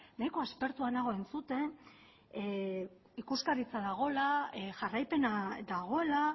nahiko aspertua nago entzuten ikuskaritza dagoela jarraipena dagoela